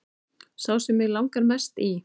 Sá sem mig langar mest í